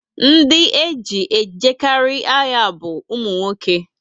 Ndị eji ejekarị agha bu umunwoke